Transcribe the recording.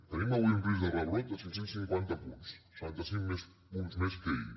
tenim avui un risc de rebrot de cinc cents i cinquanta punts setanta cinc punts més que ahir